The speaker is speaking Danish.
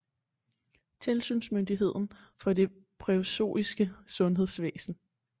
Tilsynsmyndigheden for det preussiske sundhedsvæsen